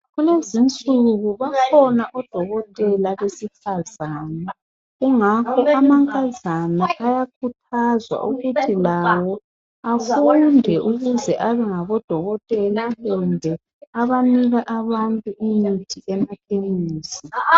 Kulezinsuku bakhona odokotela besifazane kungakho amankazana ayakhuthazwa ukuthi lawo afunde ukuze abengodokotela kumbe abanika abantu imithi emakhemesi.